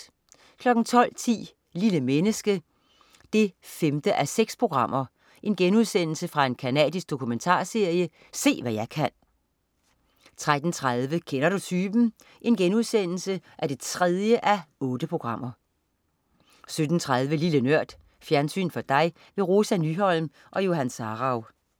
12.10 Lille menneske 5:6. Se hvad jeg kan.* Canadisk dokumentarserie 13.30 Kender du typen? 3:8* 17.30 Lille Nørd. Fjernsyn for dig. Rosa Nyholm og Johan Sarauw